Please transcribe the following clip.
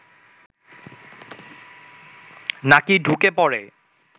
নাকি ঢুকে পড়ে